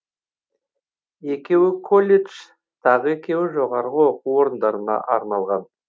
екеуі колледж тағы екеуі жоғары оқу орындарына арналған